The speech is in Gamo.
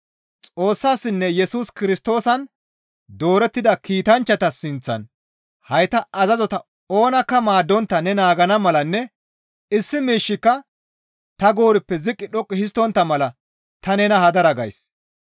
Xoossaninne Yesus Kirstoosan doorettida kiitanchchata sinththan hayta azazota oonakka maaddontta ne naagana malanne issi miishshika ta goorippe ziqqi dhoqqu histtontta mala ta nena hadara gays.